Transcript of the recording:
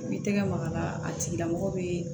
I b'i tɛgɛ maga a la a tigilamɔgɔ bɛ